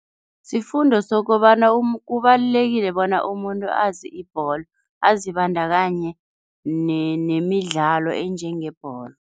Sifundo sokobana kubalulekile bona umuntu azi ibholo, azibandakanye nemidlalo enjengebholo.